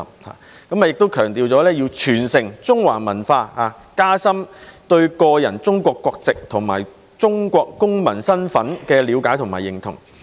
再者，亦會強調傳承中華文化，讓學生加深對個人中國國籍及中國公民身份的了解和認同。